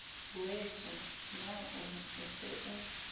weso na o se o